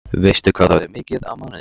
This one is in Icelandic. Veistu hvað það er mikið á mánuði?